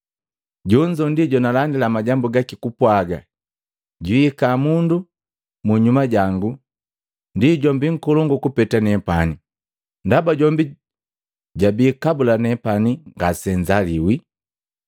Jonzo ndi jonalandila majambu gaki kupwaga, ‘Jwiihika mundu munyuma jango ndi jombi nkolongu kupeta nepani, ndaba jombi jabii kabula nepani ngasenzaliwi.’